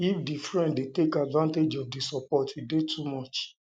if di friend de take advantage of di support e de too much